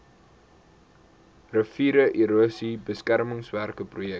riviererosie beskermingswerke projek